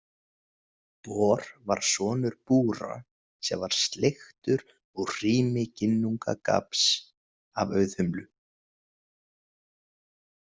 Bor var sonur Búra sem var sleiktur úr hrími Ginnungagaps af Auðhumlu.